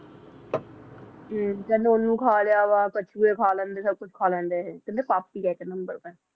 ਤੇ ਕਹਿੰਦੇ ਓਹਨੂੰ ਖਾ ਲਿਆਂ ਵਾ, ਕਛੂਏ ਖਾ ਲੇਂਦੇ, ਸਬ ਕੁਛ ਖਾ ਲੇਂਦੇ ਇਹ, ਕਹਿੰਦੇ ਪਾਪੀ ਆ ਇਕ ਨੰਬਰ ਦੇ